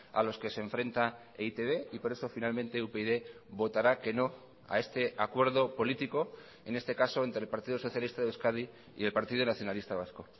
a los que se enfrenta e i te be y por eso finalmente upyd votará que no a este acuerdo político en este caso entre el partido socialista de euskadi y el partido nacionalista vasco